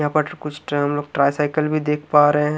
यहां पर कुछ हम लोग कुछ ट्राईसाइकिल भी देख पा रहे हैं।